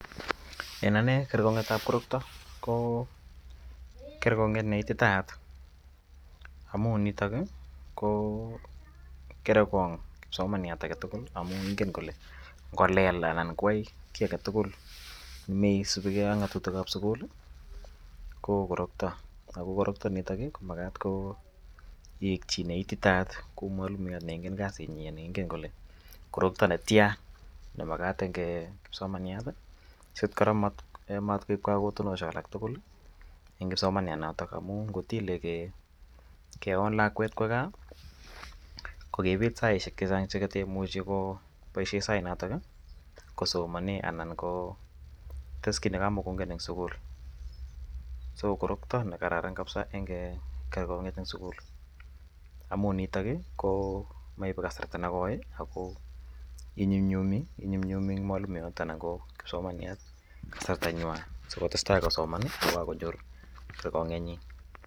En ane kerkong'et ap korokta ko kerkong'et ne ititaat amu nitok i ko kere kong' kipsomaniat age tugul amu ingen kole ngo lel anan ko yai ki age tugul ne me supi ge ak ng'atutik ap sukul ko korokta. Ako korokta nitok ko makat ko yeik chi ne ititaat kou mwalimuyat ne ingen kasinnyi ne ingen kole korokta ne tia ne makat eng' kipsomaniat si kora matkoip kagotunoshek alak tugul en kipsomanianotok amu ngot ile keon lakwet kowa gaa ko kepet saishek che chang' che katu muchi kopaishe sainotok kosomane anan ko tes ki ne ka mukongen eng' sukul. So, korokta ko kerkong'iet ne kararan missing' eng' sukul amu nitok ko maipe kasarta ne koi ako inyumnyumi eng' mwalimuyat anan ko kipsomaniat kasartanywa si kotestai kosoman kokakonyor kerkong'iet nyi.